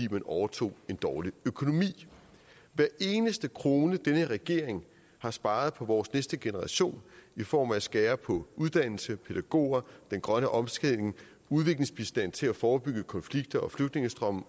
at man overtog en dårlig økonomi hver eneste krone som den her regering har sparet på vores næste generation i form af at skære på uddannelse antal pædagoger den grønne omstilling udviklingsbistanden til at forebygge konflikter og flygtningestrømme